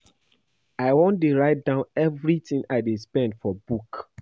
I wan dey write down everything I dey spend for book